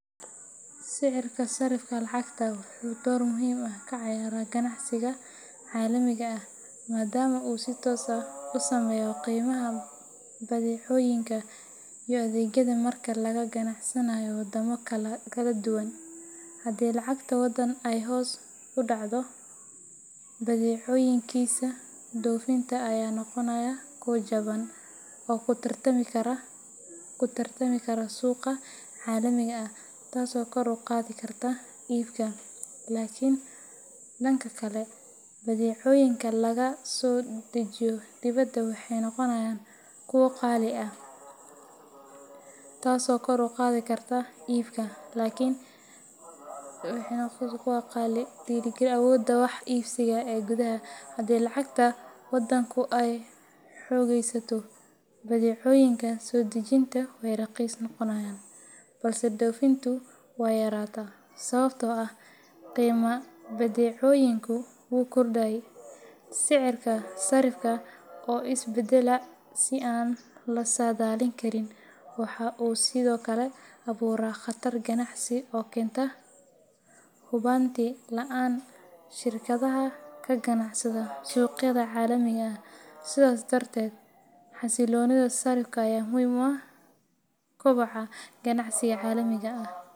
Sicirka sarrifka lacagaha wuxuu door muhiim ah ka ciyaaraa ganacsiga caalamiga ah maadaama uu si toos ah u saameeyo qiimaha badeecooyinka iyo adeegyada marka laga ganacsanayo waddamo kala duwan. Haddii lacagta waddan ay hoos u dhacdo, badeecooyinkiisa dhoofinta ayaa noqonaya kuwo jaban oo ku tartami kara suuqa caalamiga ah, taasoo kor u qaadi karta iibka. Laakiin, dhanka kale, badeecooyinka laga soo dejiyo dibadda waxay noqonayaan kuwo qaali ah, taasoo hoos u dhigi karta awoodda wax iibsiga ee gudaha. Haddii lacagta waddanku ay xoogeysato, badeecooyinka soo dejinta way raqiis noqonayaan, balse dhoofintu way yaraataa sababtoo ah qiimaha badeecooyinku wuu kordhay. Sicirka sarrifka oo is bedbeddela si aan la saadaalin karin waxa uu sidoo kale abuuraa khatar ganacsi oo ku keenta hubanti la’aan shirkadaha ka ganacsada suuqyada caalamiga ah. Sidaas darteed, xasilloonida sarrifka ayaa muhiim u ah koboca ganacsiga caalamiga ah.